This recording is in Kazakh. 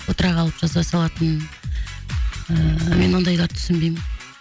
отыра қалып жаза салатын ыыы мен ондайларды түсінбеймін